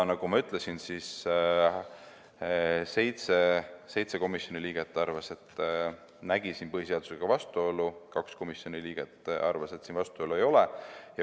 Nagu ma ütlesin, seitse komisjoni liiget nägid siin põhiseadusega vastuolu, kaks komisjoni liiget arvasid, et vastuolu ei ole.